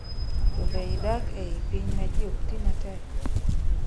to be idak ei piny ma ji okti matek?